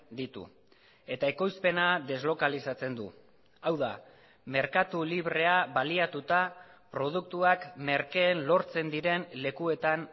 ditu eta ekoizpena deslokalizatzen du hau da merkatu librea baliatuta produktuak merkeen lortzen diren lekuetan